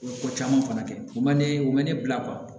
Ko caman fana kɛ o man ne o man ne bila